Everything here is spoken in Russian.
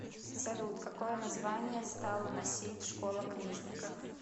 салют какое название стала носить школа книжников